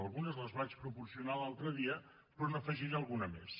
algunes les vaig proporcionar l’altre dia però n’afegiré alguna més